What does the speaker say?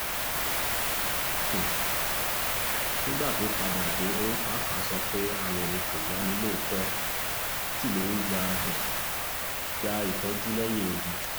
um nígbà tó padà dé òun pàápàá sọ pé ara òun kò yá ni lóòótọ́ sí lòun lọ́ọ́ um gba ìtọ́jú lẹ́yìn-ọ̀dì